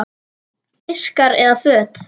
Diskar eða föt?